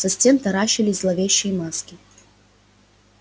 со стен таращились зловещие маски